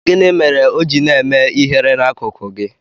Gịnị mere o ji na-eme ihere n'akuku gị?